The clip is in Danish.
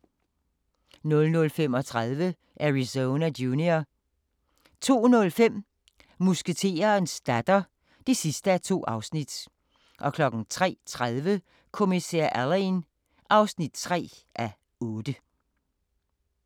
00:35: Arizona Junior 02:05: Musketerens datter (2:2) 03:30: Kommissær Alleyn (3:8)